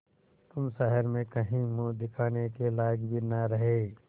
तुम शहर में कहीं मुँह दिखाने के लायक भी न रहे